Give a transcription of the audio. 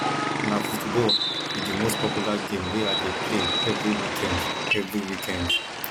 na football be di most popular game wey i dey play every weekend every weekend